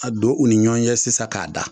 Ka don u ni ɲɔgɔn ɲɛ sisan k'a da